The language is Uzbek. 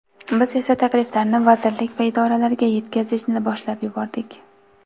Biz esa takliflarni vazirlik va idoralarga yetkazishni boshlab yubordik.